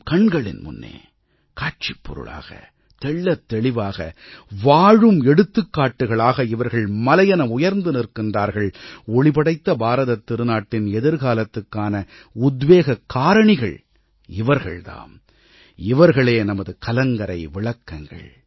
நமது கண்களின் முன்னே காட்சிப்பொருளாக தெள்ளத் தெளிவாக வாழும் எடுத்துக்காட்டுக்களாக இவர்கள் மலையென உயர்ந்து நிற்கிறார்கள் ஒளிபடைத்த பாரதத் திருநாட்டின் எதிர்காலத்துக்கான உத்வேகக் காரணிகள் இவர்கள் தாம் இவர்களே நமது கலங்கரை விளக்கங்கள்